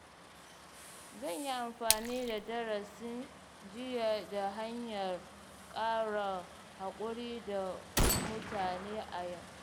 Zan yi amfani da darasin jiya ta hanyar ƙara haƙuri da mutane a yau.